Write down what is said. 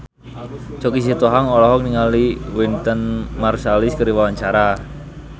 Choky Sitohang olohok ningali Wynton Marsalis keur diwawancara